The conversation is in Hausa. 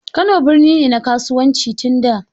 Kano birni ne na kasuwanci tun da.